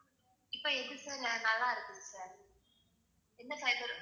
இப்ப எது sir நல்லா இருக்குது sir என்ன fiber